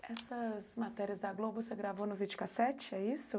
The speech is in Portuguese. Essas matérias da Globo você gravou no videocassete, é isso?